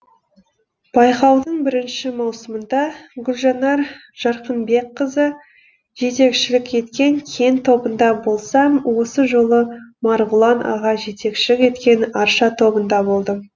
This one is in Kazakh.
байқаудың бірінші маусымында гүлжанар жарқынбекқызы жетекшілік еткен кен тобында болсам осы жолы марғұлан аға жетекшілік еткен арша тобында болдым